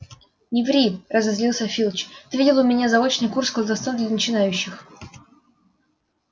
не ври разозлился филч ты видел у меня заочный курс колдовства для начинающих